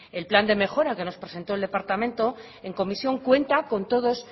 el plan de mejora que nos presentó el departamento en comisión cuenta con todos